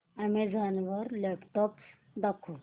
Amazon वर laptops दाखव